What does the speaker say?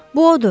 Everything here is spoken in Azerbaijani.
Bu odur.